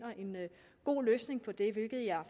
god løsning på det hvilket jeg